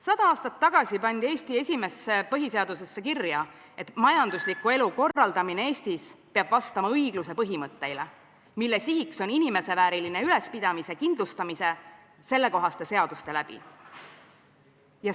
Sada aastat tagasi pandi Eesti esimesse põhiseadusesse kirja, et majandusliku elu korraldamine Eestis peab vastama õigluse põhimõtteile, mille sihiks on inimeseväärilise ülalpidamise kindlustamine sellekohaste seaduste läbi.